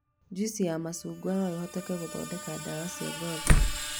Juici ya macungwa no ĩhũthĩke gũthondeka ndawa cia ngothi